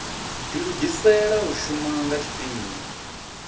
dilugisela u shuma nga tshifhinga